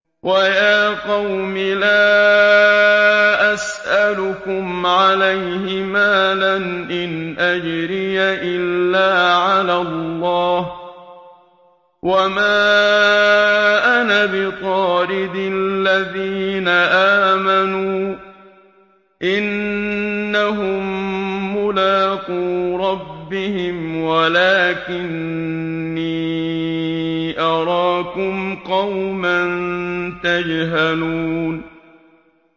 وَيَا قَوْمِ لَا أَسْأَلُكُمْ عَلَيْهِ مَالًا ۖ إِنْ أَجْرِيَ إِلَّا عَلَى اللَّهِ ۚ وَمَا أَنَا بِطَارِدِ الَّذِينَ آمَنُوا ۚ إِنَّهُم مُّلَاقُو رَبِّهِمْ وَلَٰكِنِّي أَرَاكُمْ قَوْمًا تَجْهَلُونَ